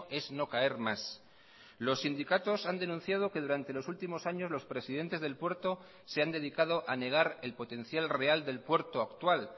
es no caer más los sindicatos han denunciado que durante los últimos años los presidentes del puerto se han dedicado a negar el potencial real del puerto actual